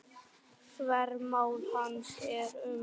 Þvermál hans er um